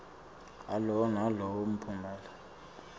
alowo nalowo mphumela